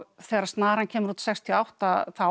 þegar snaran kemur út sextíu og átta